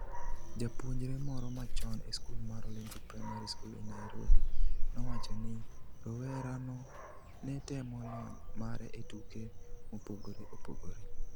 Japuonjre moro machon e skul mar Olympic Primary School e Nairobi, nowacho ni, rawerano ne temo lony mare e tuke mopogore opogore.